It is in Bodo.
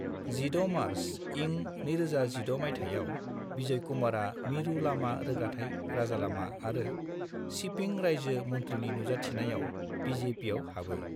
16 मार्च इं 2016 माइथायाव, बिजयकुमारा मिरु लामा रोगाथाइ राजालामा आरो शिपिं रायजो मन्थ्रिनि नुजाथिनायाव बि.जे.पि.आव हाबो।